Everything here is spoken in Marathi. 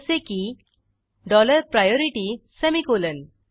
जसे कीः डॉलर प्रायोरिटी सेमिकोलॉन